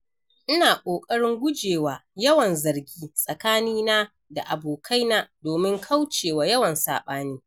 Ina kokarin gujewa yawan zargi tsakanina da abokaina domin kaucewa yawan saɓani.